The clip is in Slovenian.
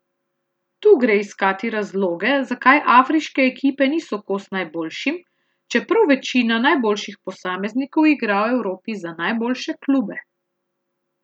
Tu gre iskati razloge, zakaj afriške ekipe niso kos najboljšim, čeprav večina najboljših posameznikov igra v Evropi za najboljše klube.